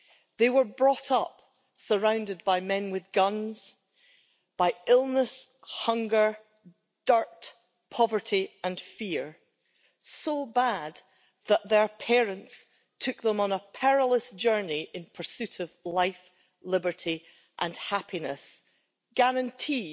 They were brought up surrounded by men with guns, by illness, hunger, dirt, poverty and fear, so bad that their parents took them on a perilous journey in pursuit of life, liberty and happiness, as guaranteed